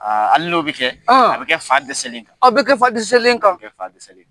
Hali n'o bɛ kɛ. A bɛ kɛ fa dɛsɛlen kan. A bɛ kɛ fa dɛsɛselen kan. A bɛ kɛ fa dɛsɛselen.